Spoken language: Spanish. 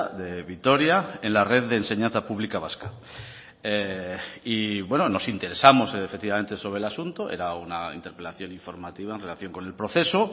de vitoria en la red de enseñanza pública vasca y nos interesamos efectivamente sobre el asunto era una interpelación informativa en relación con el proceso